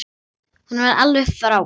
Hún var alveg frábær.